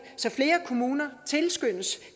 så flere kommuner tilskyndes